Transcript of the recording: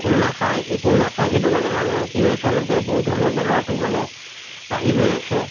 fruit নাখাই একো নাখাই সেইটো কাৰণে মানুহৰ কি হয় আছে বহুত ধৰণৰ বেমাৰতো মানে আহি গৈ আছে